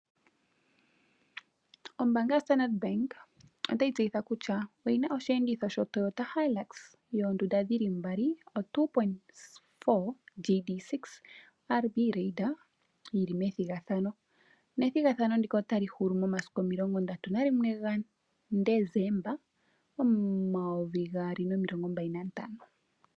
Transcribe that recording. Ombaanga yoStandard Bank otayi tseyitha kutya oyina osheenditho sho Toyota Hilux 2.4 GD- 6yi li methigathajo, nethigathano ndika otali hulu mo31 Desemba 2025.